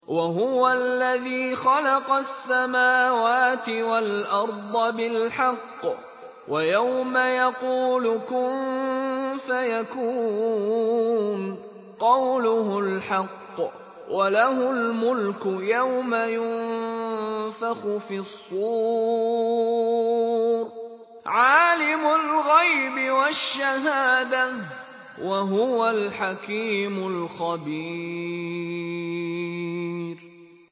وَهُوَ الَّذِي خَلَقَ السَّمَاوَاتِ وَالْأَرْضَ بِالْحَقِّ ۖ وَيَوْمَ يَقُولُ كُن فَيَكُونُ ۚ قَوْلُهُ الْحَقُّ ۚ وَلَهُ الْمُلْكُ يَوْمَ يُنفَخُ فِي الصُّورِ ۚ عَالِمُ الْغَيْبِ وَالشَّهَادَةِ ۚ وَهُوَ الْحَكِيمُ الْخَبِيرُ